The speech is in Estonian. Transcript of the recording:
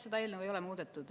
Seda eelnõu ei ole muudetud.